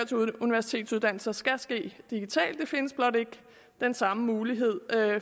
til universitetsuddannelser skal ske digitalt der findes blot ikke den samme mulighed